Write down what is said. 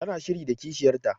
Ta na shiri da kishiyar ta